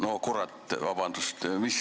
No kurat – vabandust!